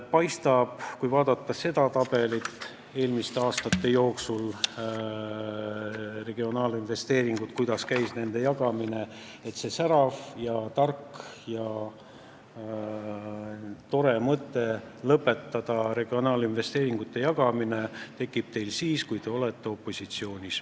Paistab nii, kui vaadata tabelit, eelmiste aastate regionaalinvesteeringuid, ja seda, kuidas käis nende jagamine, et see särav, tark ja tore mõte lõpetada regionaalinvesteeringute jagamine tekib teil siis, kui te olete opositsioonis.